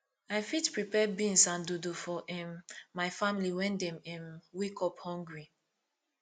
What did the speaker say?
i fit prepare beans and dodo for um my family when dem um wake up hungry